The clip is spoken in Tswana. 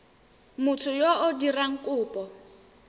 motho yo o dirang kopo